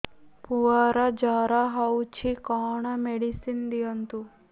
ପୁଅର ଜର ହଉଛି କଣ ମେଡିସିନ ଦିଅନ୍ତୁ